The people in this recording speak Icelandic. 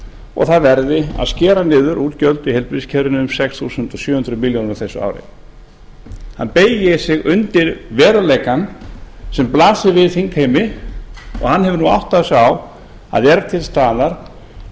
og það verði að skera niður útgjöld í heilbrigðiskerfinu um sex þúsund sjö hundruð milljóna króna á þessu ári hann beygir sig undir veruleikann sem blasir við þingheimi og hann hefur nú áttað sig á að er til staðar